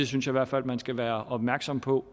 synes i hvert fald man skal være opmærksom på